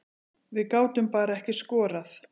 Við gátum bara ekki skorað